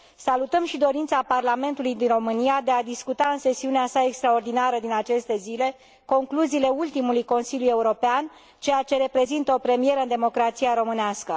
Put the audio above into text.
Salutăm și dorința Parlamentului din România de a discuta în sesiunea sa extraordinară din aceste zile concluziile ultimului Consiliu European, ceea ce reprezintă o premieră în democrația românească.